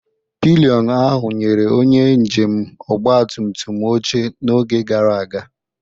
Pilion ahụ nyere onye njem ọgba tum tum oche n'oge gara aga.